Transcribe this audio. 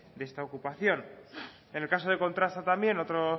de esta ocupación en el caso de kontrasta también otra